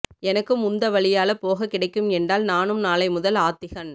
எனக்கும் உந்த வழியால போக கிடைக்கும் எண்டால் நானும் நாளை முதல் ஆத்திகன்